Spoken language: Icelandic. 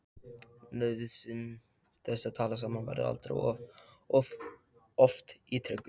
Nauðsyn þess að tala saman verður aldrei of oft ítrekuð.